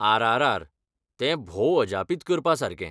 R. R. R., तें भौ अजापित करपासारकें,